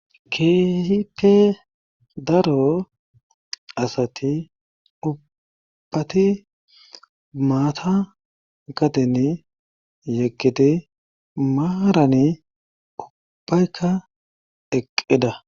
keehipe daro asati ubbati maata gatenne yeqqite maarani ubbaykka eqqeda